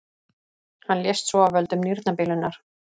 Hann lést svo af völdum nýrnabilunar.